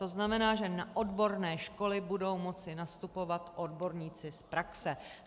To znamená, že na odborné školy budou moci nastupovat odborníci z praxe.